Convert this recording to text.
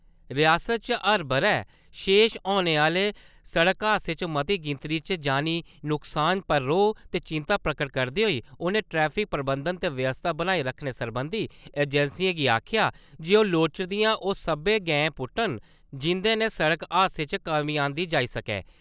रियासतै च हर ब’रे पेश औने आह्‌ले सड़क हादसें च मती गिनतरी च जानी नुक्सान पर रौह् ते चिंता प्रगट करदे होई उ`नें ट्रैफिक प्रबंधन ते व्यवस्था बनाई रक्खने सरबंधी एजेंसियें गी आक्खेआ जे ओह् लोड़चदियां ओह् सब्बै गैंई पुट्टन जिं`दे कन्नै सड़क हादसें च कमी आंह्दी जाई सकै।